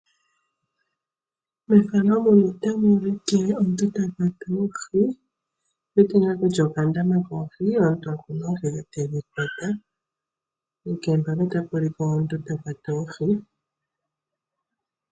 Mefano muno otamu ulike omuntu ta kwata oohi. Otu wete ngaa kutya okandama koohi. Omuntu okuna oohi tedhi kwata. Onkene mpaka otapu ulikwa omuntu ta kwata oohi.